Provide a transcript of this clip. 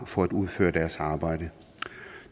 for at man